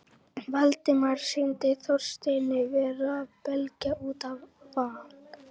Valdimari sýndist Þorsteinn vera að belgjast út af van